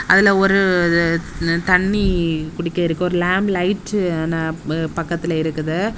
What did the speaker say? அதுல ஒரு தண்ணி குடிக்க இருக்கு ஒரு லேம் லைட்டு பக்கத்துல இருக்குது.